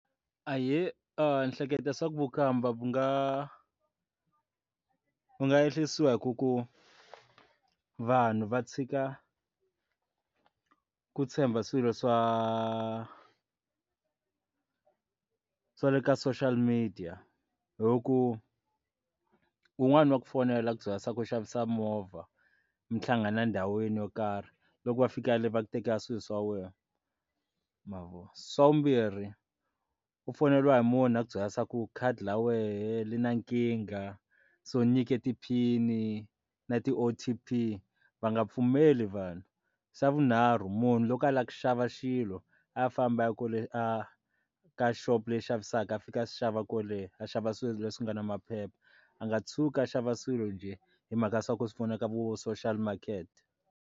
Ahee, ndzi hleketa swa ku vukhamba ku nga ku nga ehlisiwa hi ku ku vanhu va tshika ku tshemba swilo swa, swa le ka social media hi ku wun'wani wa ku fonela maphorisa ku xavisa movha mi hlangana ndhawini yo karhi loko va fika le va ku tekela swilo swa wena ma vona xa vumbirhi u foyineliwa hi munhu a ku byela se ku khadi ra wena ri na nkingha so nyike tiphini na ti o_t_p va nga pfumeli vanhu xa vunharhu munhu loko a lava ku xava xilo a famba a kule a ka shop xavisaka a fika a swi xava kwaleno a xava swilo leswi nga na maphepha a nga tshuki a xava swilo njhe hi mhaka ya swa ku swi pfuna ka vo social market.